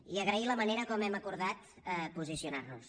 i agrair la manera com hem acordat posicionar nos